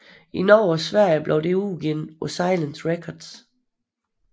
I Norge og Sverige blev det udgivet på Silence Records